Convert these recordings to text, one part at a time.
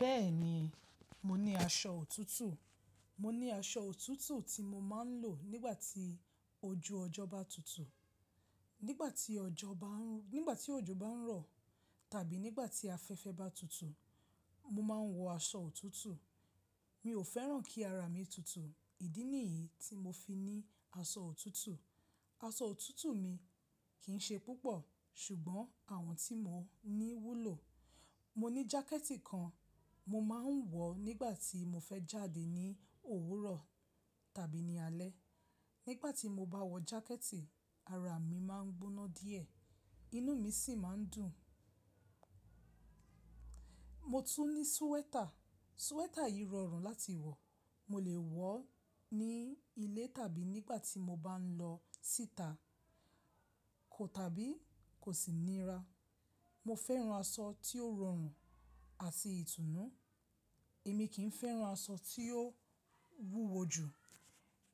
Bẹ́ẹ̀ni, mo ní aṣọ òtútù. Mo ní aṣọ òtútù tí mo máa ń lò nígbà tí ojú ọjọ́ bá tutù. Nigba Nígbà tí ojo bá ń rọ́ tàbí nígbà tí afẹ́fẹ́ bá tutù, mo máa ń wọ aṣọ òtútù. Mi ò fẹ́ràn kí ara mi tutù. Ìdí nìyí tí mo fi ní aṣọ òtútù. Aṣọ òtútù mi kì ń ṣe púpọ̀ ṣùgbọ́n àwọn tí mo ní wúlò. Mo ní jákẹ́tì kan mo máa ń wọ̀ nígbà tí mo fẹ́ jáde ní òwúrọ̀ tàbí ní alẹ́. Nígbà tí mo bá wọ jákẹ́tì, ara mi máa ń gbóná díẹ̀, inú mi sì máa ń dùn. Mo tún ní súwẹ́tà. Súwẹ́tà yìí rọrùn láti wọ̀. Mo lè wọ̀ ọ́ ní ilé tàbí nígbà tí mo bá ń lọ síta ko tàbí kò sì nira. Mo fẹ́ràn aṣọ tí ó rọrùn àti ìtùnú. Èmi kì ń fẹ́ràn aṣọ tí ó wúwo jù.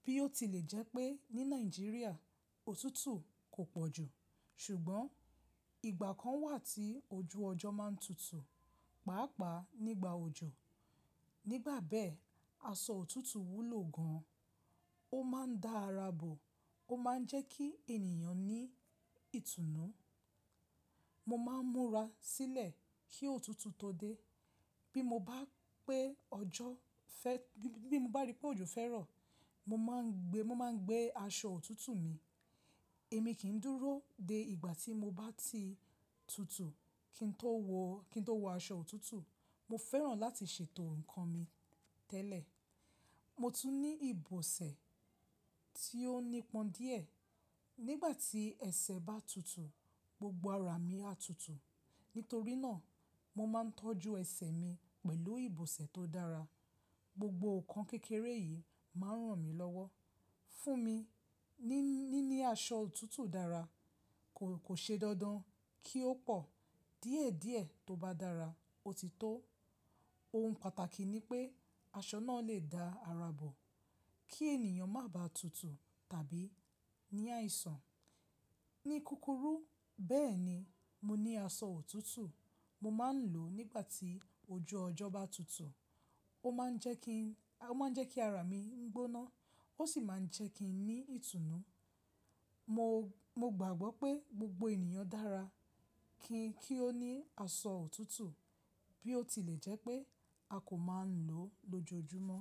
Bí ó tile jẹ́ pé ní Nàìjíríà òtútù kò pọ̀ jù. Ṣùgbọ́n ìgbà kan wà tí ojú ọjọ́ máa ń tutù, pàápàá nígba òjò. Nígbà bẹ́ẹ̀, aṣọ òtútù wúlò gan-an. Ó máa ń da ara bò, ó máa ń jẹ́ kí ènìyàn ní ìtùnú. Mo máa ń múra sílẹ̀ kí òtútù tó dé. Bí mo bá rí pé ojo fẹ́ rọ̀, mo máa ń gbé aṣọ òtútù mi. Èmi kì ń dúró dé ìgbà tí mo bá ti tutù kí n tó wọ aṣọ òtútù. Mo fẹ́ràn láti ṣètò ǹkan mi tẹ́lẹ̀. Mo tún ní ìbòsẹ̀ tí ó nípọn díẹ̀. Nígbà tí ẹsẹ̀ bá tutù, gbogbo ara mi á tutù. Nítorí náà, mo máa ń tọ́jú ẹsẹ̀ mi pẹ̀lú ìbòsẹ̀ tó dára. Gbogbo ǹkan kékeré yìí máa ń ràn mí lọ́wọ́. Fún mi, níní aṣọ òtútù dára. Kò ṣe dandan kí ó pọ̀. Díẹ̀díẹ̀ tó bá dára ó ti tó. Ohun pàtàkì ni pé aṣọ náà lè da ara bò kí ènìyàn má bàá tutù tàbí ní àìsàn. Ní kúkùúrù, bẹ́ẹ̀ni, mo ní aṣọ òtútù. Mo máa ń lò ó nígbà tí ojú ọjọ́ bá tutù. Ó máa ń jẹ́ kí ara mi gbóná ó sì máa ń jẹ́ kí n ní ìtùnú. Mo gbàgbọ́ pé gbogbo ènìyàn dára kí ó ní aṣọ òtútù bí ó tile jẹ́ pé a kò máa ń lò ó lójoojúmọ́.